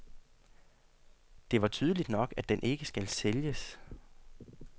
Det var tydeligt nok, at den ikke skal sælges.